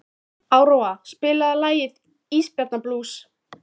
Áróra, spilaðu lagið „Ísbjarnarblús“.